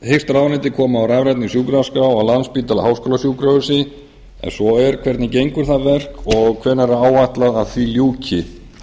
hyggst ráðuneytið koma á rafrænni sjúkraskrá á landspítala háskólasjúkrahúsi ef svo er hvernig gengur það verk og hvenær er áætlað að því ljúki